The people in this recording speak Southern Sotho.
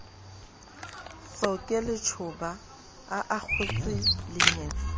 tsoke letjhoba a akgotse lengetse